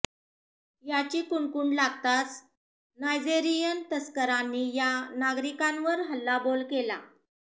याची कुणकुण लागताच नायजेरियन तस्करांनी या नागरिकांवर हल्लाबोल केला